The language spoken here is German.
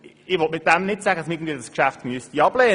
Damit will ich nicht sagen, man müsste das Geschäft ablehnen.